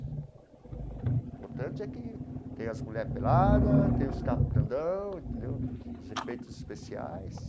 O importante é que tem as mulher pelada, tem os carro grandão entendeu, os efeitos especiais.